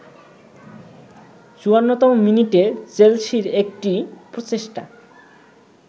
৫৪তম মিনিটে চেলসির একটি প্রচেষ্টা